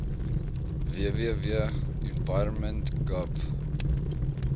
www environment gov